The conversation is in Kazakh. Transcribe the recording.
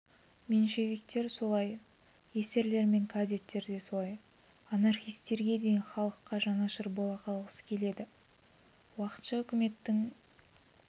меньшевиктер солай эсерлер мен кадеттер де солай анархистерге дейін халыққа жанашыр бола қалғысы келеді уақытша үкіметтің